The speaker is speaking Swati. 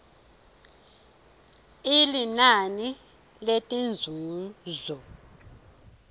i linani letinzuzo